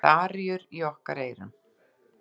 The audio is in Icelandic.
Með aríur okkar í eyrunum.